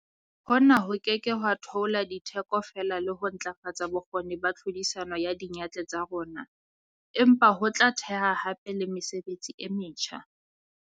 Hona ho ke ke ha theola ditheko fela le ho ntlafatsa bokgoni ba tlhodisano ya diyantle tsa rona, empa ho tla theha hape le mesebetsi e metjha.